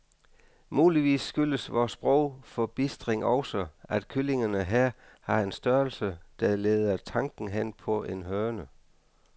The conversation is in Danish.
Muligvis skyldes vor sprogforbistring også, at kyllingerne her har en størrelse, der leder tanken hen på en høne.